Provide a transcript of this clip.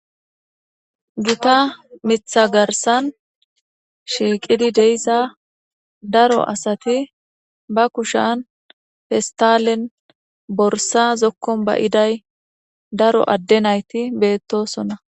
Gita mita garisan shiqidi diza daro asati ba kushshan pestalenne borisa zokuam baiday daro adde nayiti betosona.